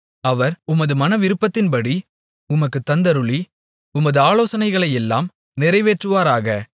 அவர் உமது மனவிருப்பத்தின்படி உமக்குத் தந்தருளி உமது ஆலோசனைகளையெல்லாம் நிறைவேற்றுவாராக